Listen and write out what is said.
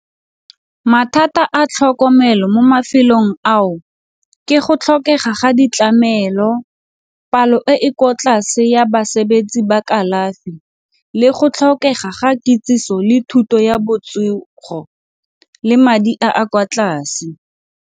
Mathata a tlhokomelo mo mafelong ao ke go tlhokega ga ditlamelo, palo e e kwa tlase ya basebetsi ba kalafi le go tlhokega ga kitsiso le thuto ya botsogo le madi a a kwa tlase.